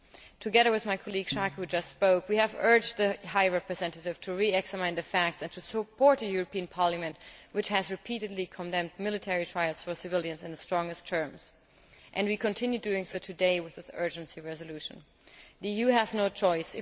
Together with my colleague, Ms Schaake, who just spoke, we have urged the High Representative to re examine the facts and to support the European Parliament which has repeatedly condemned military trials for civilians in the strongest terms and continues to do so today with this urgency resolution. The EU has no choice